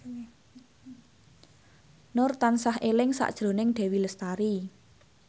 Nur tansah eling sakjroning Dewi Lestari